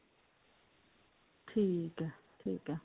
ਠੀਕ ਹੈ ਠੀਕ ਹੈ